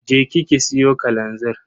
Je ki ki siyo kalanzir.